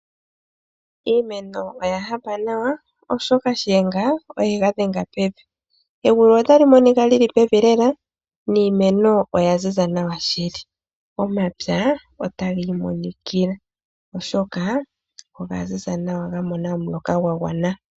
Iimeno oya hapa nawa oshoka shiyenga oye ga dhenga pevi. Egulu otali monika li li pevi lela niimeno oya ziza nawa shili. Omapya otaga imonikila oshoka oga ziza nawa ga mona omuloka gwa gwana.